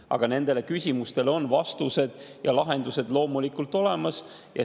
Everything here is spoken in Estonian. Aga nendele küsimustele on vastused ja lahendused loomulikult olemas.